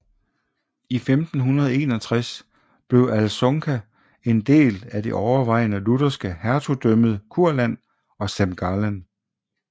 I 1561 blev Alsunga en del af det overvejende lutherske Hertugdømmet Kurland og Semgallen